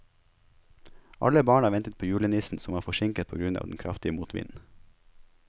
Alle barna ventet på julenissen, som var forsinket på grunn av den kraftige motvinden.